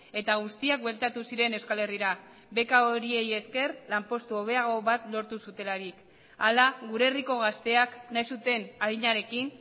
eta guztiak bueltatu ziren euskal herrira beka horiei eskez lanpostu hobeago bat lortu zutelarik hala gure herriko gazteak nahi zuten adinarekin